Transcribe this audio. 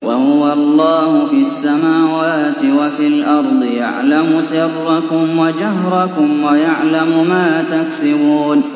وَهُوَ اللَّهُ فِي السَّمَاوَاتِ وَفِي الْأَرْضِ ۖ يَعْلَمُ سِرَّكُمْ وَجَهْرَكُمْ وَيَعْلَمُ مَا تَكْسِبُونَ